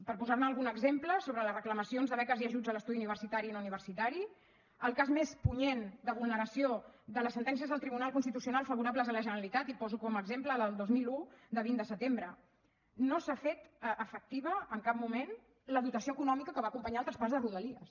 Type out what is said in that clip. per posar ne algun exemple sobre les reclamacions de beques i ajuts a l’estudi universitari i no universitari el cas més punyent de vulneració de les sentències del tribunal constitucional favorables a la generalitat i poso com a exemple la del dos mil un de vint de setembre no s’ha fet efectiva en cap moment la dotació econòmica que va acompanyar el traspàs de rodalies